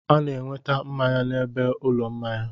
A na-eweta mmanya n'ebe ụlọ mmanya.